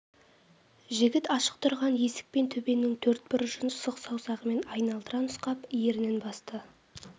жігіт ашық тұрған есік пен төбенің төрт бұрышын сұқ саусағымен айналдыра нұсқап ернін басты